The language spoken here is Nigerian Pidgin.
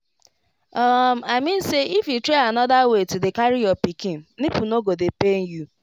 um i mean say if you try another way to dey carry your pikin nipple no go dey pain you